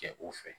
Kɛ u fɛ